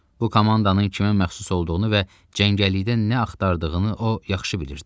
Bu komandanın kimə məxsus olduğunu və cəngəllikdə nə axtardığını o yaxşı bilirdi.